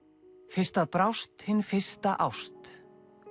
fyrst að brást hin fyrsta ást